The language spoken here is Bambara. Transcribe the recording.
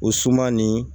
O suman nin